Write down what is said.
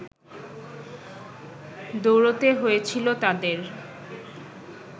দৌড়তে হয়েছিল তাঁদের